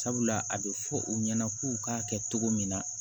Sabula a bɛ fɔ u ɲɛna k'u k'a kɛ cogo min na